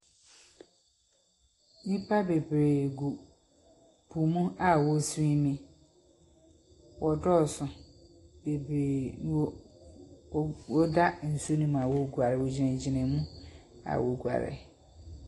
Nhyimpa beberee gu po no mu a wɔrosoweeme. Wɔdɔɔ so beberee a wo wɔda nsu no mu a woruguar, wogyinagyina mu a woruguar.